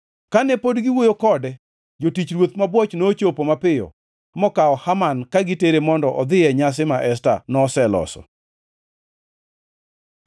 Kane pod giwuoyo kode, jotich ruoth mabwoch nochopo mapiyo mokawo Haman ka gitere mondo odhi e nyasi ma Esta noseloso.